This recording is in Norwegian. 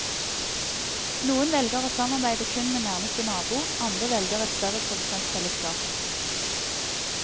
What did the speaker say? Noen velger å samarbeide kun med nærmeste nabo, andre velger et større produsentfellesskap.